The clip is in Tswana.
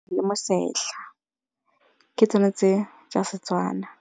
Le mosetlha, ke tsona tse tsa Setswana.